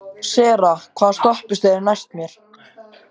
Sera, hvaða stoppistöð er næst mér?